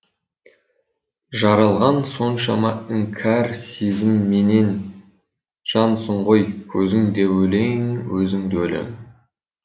жаралған соншама іңкәр сезімменен жансың ғой көзің де өлең өзің де өлең